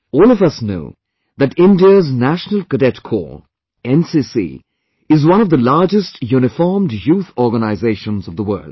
All of us know that India's National Cadet Corps, NCC is one of the largest uniformed youth organizations of the world